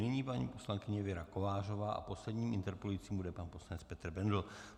Nyní paní poslankyně Věra Kovářová a posledním interpelujícím bude pan poslanec Petr Bendl.